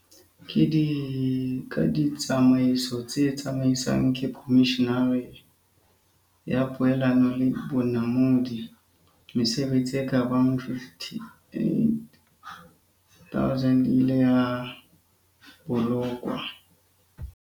Ka ditsa maiso tse tsamaiswang ke Komishene ya Poelano le Bonamodi, mesebetsi e ka bang 58 000 e ileng ya bo lokwa.